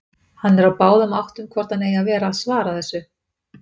Hann er á báðum áttum hvort hann eigi að vera að svara þessu.